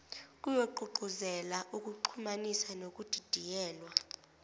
kuyogqugquzela ukuxhumanisa nokudidiyelwa